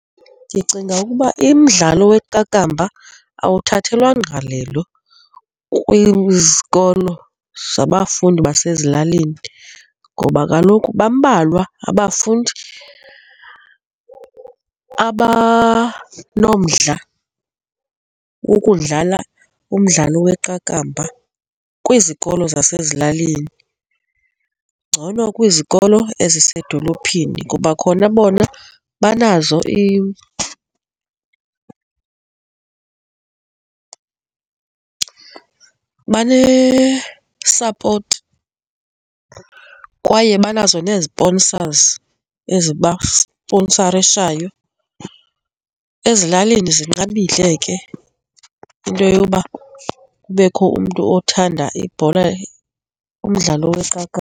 Ndicinga ukuba umdlalo weqakamba awuthathelwa ngqalelo kwizikolo zabafundi basezilalini ngoba kaloku bambalwa abafundi abanomdla wokudlala umdlalo weqakamba kwizikolo zasezilalini. Ngcono kwizikolo ezisedolophini kuba khona bona banazo banesapoti kwaye banazo nee-sponsors ezibasponsarishayo, ezilalini zinqabile ke into yoba kubekho umntu othanda ibhola, umdlalo weqakamba.